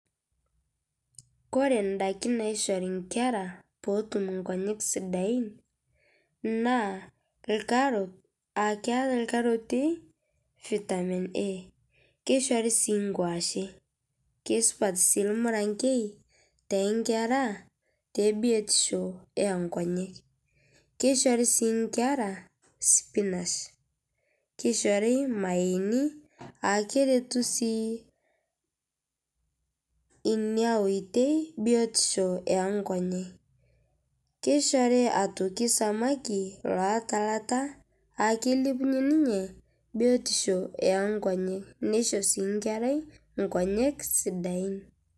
Kore ndaakin naishorii nkera poo otuum ndaakin sidain naa lkaroot aa keyau lkarotii Vitamin A. Keishorii sii nkuashe kesupaat sii lmurang'ee te nkera te biotisho e nkonyek. Keishori sii nkera spinash, keishorii mayeeni aa keretuu sii enia ootei biotisho e nkonyek. Keishorii aitokii samaki loataa laata aa kelebunyee ninyee biotisho e nkonyek. Neishoo sii nkerai nkonyek sidain.